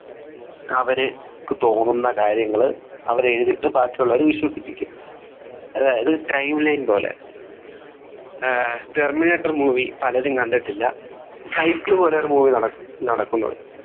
അവര്ക്ക് തോന്നുന്ന കാര്യങ്ങൾ അവർ എഴുതിയിട്ട് ബാക്കിയുള്ളവരെ വിശ്വസിപ്പിക്കും അതായത് timeline പോലെ ഏർ terminator movie പലരും കണ്ടിട്ടില്ല cycle പോലെ ഒരു movie നടക്ക് നടക്കുന്നത്